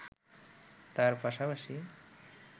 তার পাশপাশি